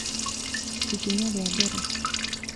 Ikinya rĩa mbere